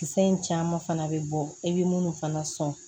Kisɛ in caman fana bɛ bɔ i bɛ munnu fana sɔn